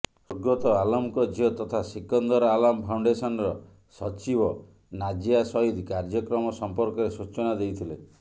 ସ୍ୱର୍ଗତ ଆଲାମ୍ଙ୍କ ଝିଅ ତଥା ସିକନ୍ଦର ଆଲାମ୍ ଫାଉଣ୍ଡେସନ୍ର ସଚିବ ନାଜିଆ ସୟିଦ୍ କାର୍ଯ୍ୟକ୍ରମ ସମ୍ପର୍କରେ ସୂଚନା ଦେଇଥିଲେ